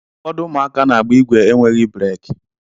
Ụfọdụ ụmụaka n'agba igwe enweghị breki.